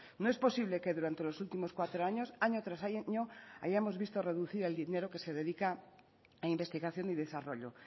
no es posible que durante los últimos cuatro años año tras año hayamos visto reducido el dinero que se dedica a investigación y desarrollo